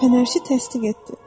Fənərçi təsdiq etdi: